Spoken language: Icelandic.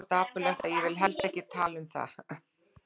Það var svo dapurlegt að ég vil helst ekki tala um það.